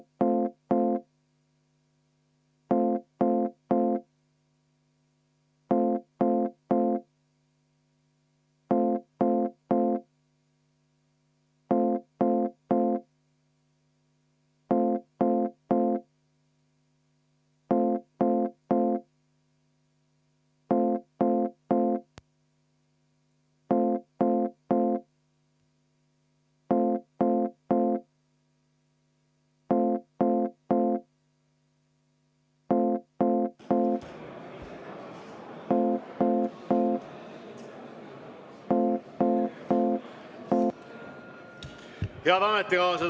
Head ametikaaslased!